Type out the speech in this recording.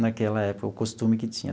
naquela época, o costume que tinha.